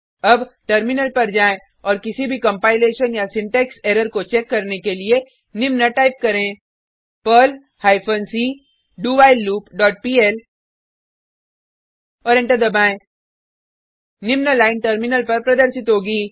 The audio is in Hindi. अब टर्मिनल पर जाएँ औऱ किसी भी कंपाइलेशन या सिंटेक्स एरर को चेक करने के लिए निम्न टाइप करें Perl hyphen c do while loop dot pl और एंटर दबाएँ निम्न लाइन टर्मिनल पर प्रदर्शित होगी